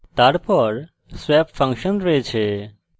তারপর swap function রয়েছে